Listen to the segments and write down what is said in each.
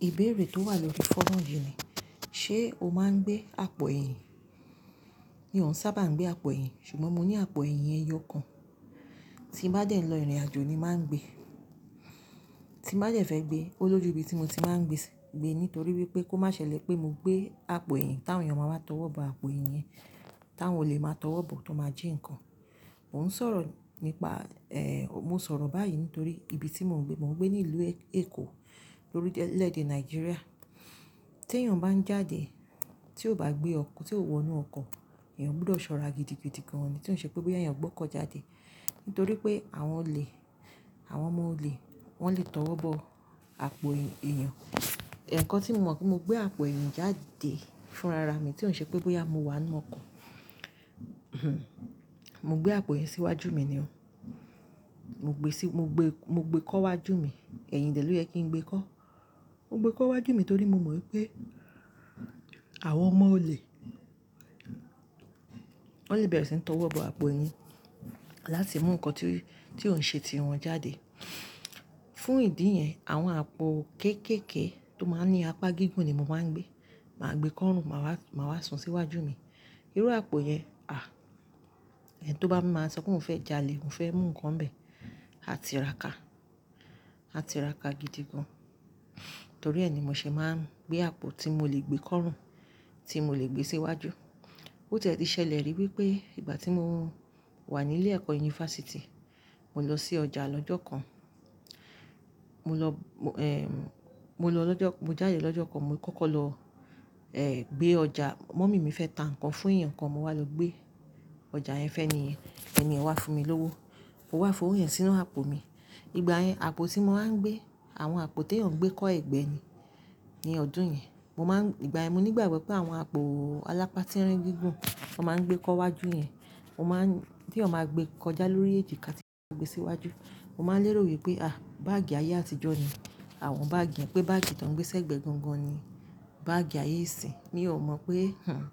Ìbéèrè tó wà lórí fónù yìí ni, ṣe o máa ń gbé àpò ẹ̀yìn? Mi òún sábà gbé àpò ẹ̀yìn, ṣùgbọ́n mo ní àpò ẹ̀yìn ẹyọ kan, tí n bá dẹ̀ lọ ìrìnàjò ni màá ń gbé. Tí n bá jẹ̀ fẹ́ gbé, ó lójú ibi tí mo ti máa ń gbe gbé nítorí wípé kó má ṣẹlẹ̀ pé mo gbé àpò ẹ̀yìn táwọn èèyàn máa wá tọwọ́ bọ àpò ẹ̀yìn yẹn, táwọn ò lè máa tọwọ́ bọ, tó máa jí nǹkan. Mò ń sọ̀rọ̀ nípa, eh, mo sọ̀rọ̀ báyìí nítorí ibi tí mò ń gbé, mò ń gbé ní ìlú Èkó, lórí lẹ́dẹ Nàìjíríà. Tí èèyàn bá ń jáde, tí ò bá gbé ọkọ, tí ò wọnú ọkọ, èèyàn gbúdọ̀ sọ́ra gidigidi gan ni tí ó ń ṣe pé bóyá èèyàn gbọ́kọ̀ jáde. Nítorí pé àwọn olè, àwọn ọmọ òle, wọ́n lè tọwọ́ bọ àpò èèyàn. Ẹ̀ẹ̀kan tí mo mọ̀ pé mo gbé àpò ẹ̀yìn jáde fún rara mi tí ó ń ṣe pé bóyá mo wà nínú ọkọ. Mo gbé àpò ẹ̀yìn síwájú mi ni o. Mo gbé sí, mo gbé, mo gbé kọ́wájú mi. Ẹ̀yìn dẹ̀ ló yẹ kí n gbé kọ́. Mo gbé kọ́wájú mi torí mo mọ̀ wípé àwọn ọmọ òle, wọ́n lè bẹ̀rẹ̀ sí ní tọwọ́ bọ àpò ẹ̀yìn láti mú nǹkan tí, tí ó ń ṣe tiwọn jáde. Fún ìdí yẹn, àwọn àpò kéékèèké tó máa ń ní apá gígùn ni mo máa ń gbé. Màá gbé kọ́run, màá wá, màá wá sun síwájú mi. Irú àpò yẹn, à, ẹni tó bá máa ń sọ pé òun fẹ́ jalè, òun fẹ́ mú nǹkan bẹ, a tí ra ká. A tí ra ká gidigan. Torí ẹ ni mò ṣe máa ń gbé àpò tí mo lè gbé kọ́run, tí mo lè gbé síwájú. Ó tẹ́ ti ṣẹlẹ̀ rí wípé ìgbà tí mo wà nílé ẹ̀kọ́ yunifásítì, mo lọ sí ọjà lọ́jọ́ kan. Mo lọ, mo, eh, mo lọ lọ́jọ́, mo jáde lọ́jọ́ kan, mo kọ́kọ́ lọ, eh, gbé ọjà, mọ́mì mi fẹ́ ta nǹkan fún èèyàn kan, mo wá lọ gbé ọjà ẹ fẹ́ni yẹn. Ẹniyàn wá fún mi lówó, ó wá fò òwo yẹn sínú àpò mi. Ìgbà yẹn, àpò tí mo máa ń gbé, àwọn àpò tí èèyàn gbé kọ́ ẹgbẹ́ ni, ní ọdún yẹn. Mo máa ń, ìgbà ẹ mi nígbà gbọ́ pé àwọn àpò alápá tí ń rín gígùn, wọ́n máa ń gbé kọ́wájú yẹn, wọ́n máa ń, tí èèyàn máa gbé kọjá lórí èjìká tí wọn gbé síwájú. Mo máa ń lérò wípé, à, báàgì ayé àtijọ́ ni àwọn báàgì yẹn, pé báàgì tó ń gbé ṣẹ́gbẹ́ gangan ni báàgì ayé ìsin. Mì óò mọ̀ pé, hmmm,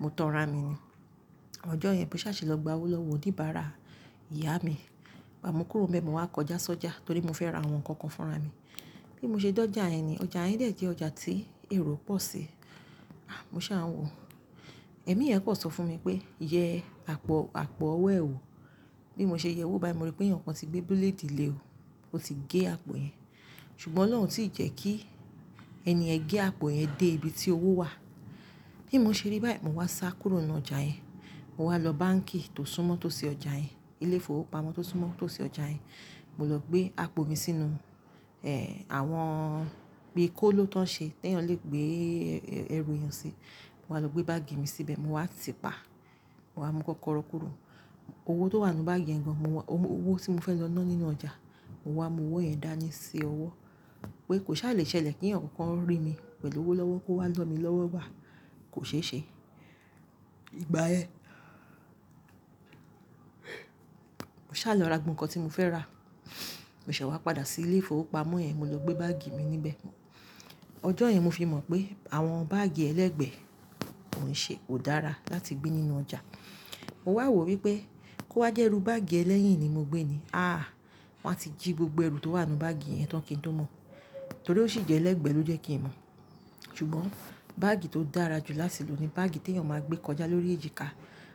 mo tàn rà mi ni. Ọjọ́ yẹn bí mo sá ṣe lọ gba owó lọ́wọ́ oníbàárà ìyá mi, gbá mo kúrò mbẹ mọ̀ wá kọjá sọ́jà torí mo fẹ́ ra àwọn nǹkan kan fún ara mi. Bí mo ṣe dé ọjà yẹn ni, ọjà yẹn dẹ̀ jẹ́ ọjà tí èrò pọ̀ sí. À, mo sá ń wò. Ẹ̀mí yẹn pọ̀ sọ fún mi pé, "Yẹ àpò, àpò ọwọ́ ẹ ò." Bí mo ṣe yẹ owó bá mi rí pé ẹnìkan ti gbé búlédì lè ó. Ó ti gé àpò yẹn. Ṣùgbọ́n Ọlọ́run ò tí ì jẹ́ kí ènìyàn gé àpò yẹn dé ibi tí owó wà. Bí mo ṣe rí báyìí, mo wá sá kúrò nínú ọjà yẹn. Mo wá lọ báǹkì tó súnmọ́ tó sí ọjà yẹn. Ilé-ìfowópamọ́ tó súnmọ́ tó sí ọjà yẹn. Mo lọ gbé àpò mi sínú, eh, àwọn bí kó ló tán ṣe tí èèyàn lè gbé ẹrù èèyàn sí. Mo wá lọ gbé báàgì mi síbẹ̀, mo wá tipa. Mo wá mú kọ́kọ́rọ́ kúrò. Owó tó wà nínú báàgì yẹn gan, mo wá, owó tí mo fẹ́ lọ ná nínú ọjà, mo wá mu owó yẹn dání sí ọwọ́. Pé kò sá à lè ṣẹlẹ̀ kí ẹnìkankan rí mi pẹ̀lú owó lọ́wọ́ kó wá lọ́ mi lọ́wọ́ wà. Kò ṣe ṣe. Ìgbà ẹ, mo sá lọ ra gbogbo nǹkan tí mo fẹ́ rà. Mo ṣẹ wá padà sí ilé-ìfowópamọ́ yẹn, mo lọ gbé báàgì mi níbẹ̀. Ọjọ́ yẹn mo fi mọ̀ pé àwọn báàgì ẹlẹ́gbẹ̀ ò ṣe, kò dára láti gbé nínú ọjà. Mo wá wò wípé kó wá jẹ́rú báàgì ẹlẹ́yìn ni mo gbé ni, àá, wọ́n á ti jí gbogbo ẹrú tó wà nínú báàgì yẹn tán kí n tó mọ̀. Torí ó sì jẹ́ ẹlẹ́gbẹ̀ẹ́ ló jẹ́ kí n mọ̀. Ṣùgbọ́n báàgì tó dára jù látìlò ni báàgì tí èèyàn máa ń gbé kọjá lórí èjìká.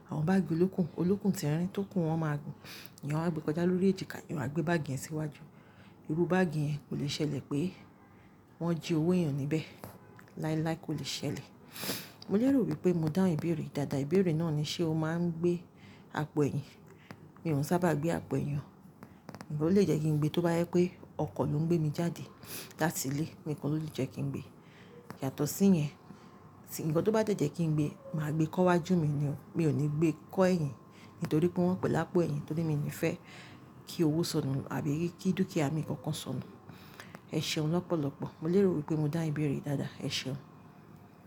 Àwọn báàgì olókùn, olókùn tí ń rín tó kù wọ́n máa gùn. Èèyàn á gbé kọjá lórí èjìká, èèyàn á gbé báàgì yẹn síwájú. Irú báàgì yẹn kò lè ṣẹlẹ̀ pé wọ́n jí owó èèyàn níbẹ̀. Láíláí kò lè ṣẹlẹ̀. Mo lérò wípé mo dá ìbéèrè dáadáa. Ìbéèrè náà ni ṣe o máa ń gbé àpò ẹ̀yìn? Mi òún sábà gbé àpò ẹ̀yàn. Ǹjẹ́ ó lè jẹ́ kí n gbé tó bá yẹ pé ọkọ̀ ló ń gbé mi jáde láti ilé, nǹkan ló lè jẹ́ kí n gbé. Yàtọ̀ sí yẹn, ǹkan tó bá jẹ́ jẹ́ kí n gbé, màá gbé kọ́wájú mi ni o. Mi ò ní gbé kọ́ ẹ̀yìn nítorí pé wọ́n pẹ̀lápọ̀ ẹ̀yìn, torí mi ò ní fẹ́ kí owó sọnù àbí kí dúkìá mi kankan sọnù. Ẹ ṣeun lọ́pọ̀lọ́pọ̀. Mo lérò wípé mo dá ìbéèrè dáadáa. Ẹ ṣeun.